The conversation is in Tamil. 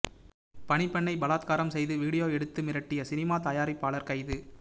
பணிப்பெண்ணை பலாத்காரம் செய்து வீடியோ எடுத்து மிரட்டிய சினிமா தயாரிப்பாளர் கைது